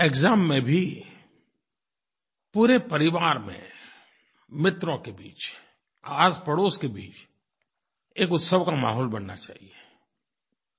exam में भी पूरे परिवार में मित्रों के बीच आसपड़ोस के बीच एक उत्सव का माहौल बनना चाहिये